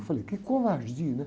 Eu falei, que covardia, né?